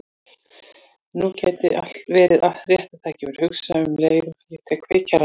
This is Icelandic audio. Nú gæti verið rétta tækifærið, hugsa ég um leið og ég tek kveikjarann upp.